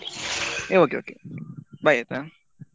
Okay okay okay bye ಆಯ್ತಾ.